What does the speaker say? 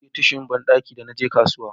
na saya tishun banɗaki da naje kasuwa